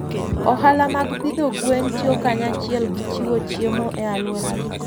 Ohala mag pidho gwen tiyo kanyachiel gi jochiwo chiemo e alworagi.